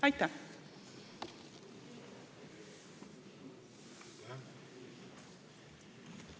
Aitäh!